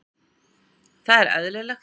Það er eðlilegt